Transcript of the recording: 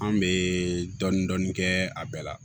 An bɛ dɔɔnin-dɔɔnin kɛ a bɛɛ la